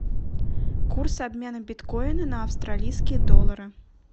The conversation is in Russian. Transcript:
курс обмена биткоина на австралийские доллары